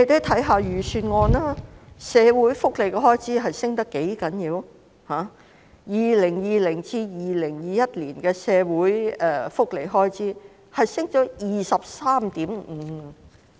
財政預算案的社會福利開支飆升 ，2020-2021 年度的社會福利開支上升了 23.5%。